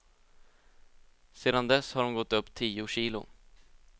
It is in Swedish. Sedan dess har hon gått upp tio kilo.